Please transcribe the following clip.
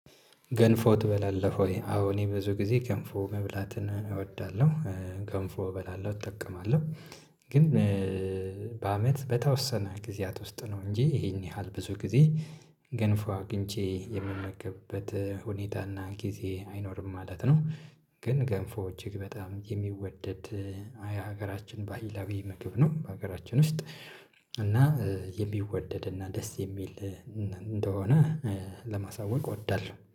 ገንፎ ትበላለህ ወይ? አዎ እኔ ብዙ ጊዜ ገንፎ መብላትን እወዳለሁ። ገንፎ እበላለሁ እጠቀማለሁ ግን በአመት በተወሰነ ጊዜያት ውስጥ ነው እንጂ ይሄን ያህል ብዙ ጊዜ ገንፎ አግኝቼ የምመገብበት ሁኔታ እና ጊዜ አይኖርም ማለት ነው፣ ግን ገንፎ እጅግ በጣም የሚወደድ ሀገራችን ባህላዊ ምግብ ነው። በሀገራችን ውስጥ እና የሚወደድ እና ደስ የሚል እነ እንደሆነ ለማሳወቅ እወዳለሁ።